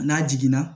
N'a jiginna